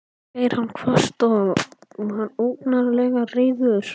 sagði hann hvasst og var ógurlega reiður.